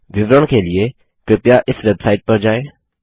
विवरण के लिए कृपया इस वेबसाइट पर जाएँ